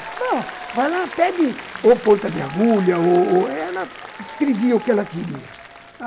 Não, vai lá, pede ou ponta de agulha ou ou... Ela descrevia o que ela queria.